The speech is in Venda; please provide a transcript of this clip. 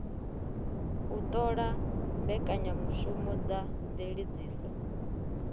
u ṱola mbekanyamushumo dza mveledziso